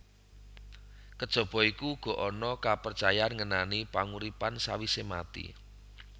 Kejaba iku uga ana kaprecayan ngenani panguripan sawisé mati